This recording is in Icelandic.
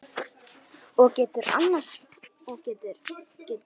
Og geturðu annast hann?